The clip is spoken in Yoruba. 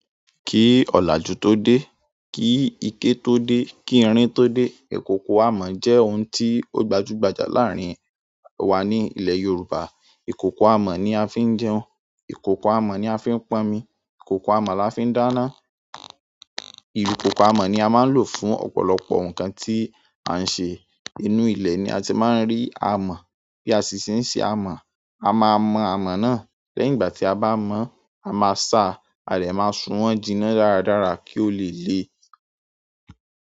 Ki òlàjú tó dé, kí ike tó dé, kí irin tó dé, ìkòkò amọ̀ jẹ́ ohun tí ó gbajúgbajà láàrin wa ní ilẹ̀ Yorùbá. Ìkòkò amọ̀ ni a fi ń jẹun, ìkòkò amọ̀ ni a fi ń pọnmi, ìkòkò amọ̀ la fi ń dáná. Ìkòkò amọ̀ ni a máa ń lò fún ọ̀pọ̀lọpọ̀ nǹkan tí a ń ṣe. Inú ilẹ̀ ni a ti máa ń rí amọ̀. Bí a ṣe ń ṣe amọ̀, a máa mọ amọ̀ náà. Lẹ́yìn ìgbà tí a bá mọ̀, a máa sa, a de máa sun wọ́n jìnà dáradára kí ó le le.